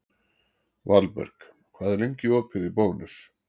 Valberg, hvað er lengi opið í Bónus?